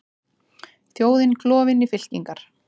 Þjóðin klofin í fylkingar